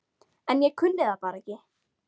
En ég kunni það bara ekki.